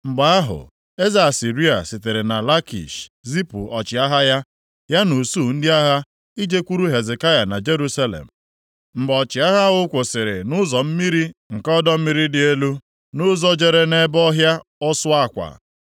Mgbe ahụ, eze Asịrịa sitere na Lakish zipụ ọchịagha ya, ya na usuu ndị agha ijekwuru Hezekaya na Jerusalem. Mgbe ọchịagha ahụ kwụsịrị nʼụzọ mmiri nke ọdọ mmiri dị Elu, nʼụzọ jere nʼebe ọhịa Ọsụ akwa.